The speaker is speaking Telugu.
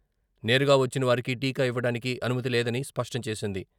నేరుగా వచ్చిన వారికి టీకా ఇవ్వడానికి అనుమతి లేదని స్పష్టం చేసింది.